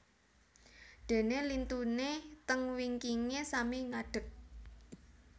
Dene lintune teng wingkinge sami ngadek